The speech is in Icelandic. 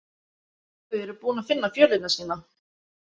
Þau eru búin að finna fjölina sína.